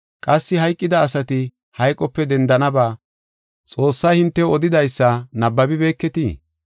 Qassi hayqida asati hayqope dendanaba Xoossay hintew odidaysa nabbabibeketii?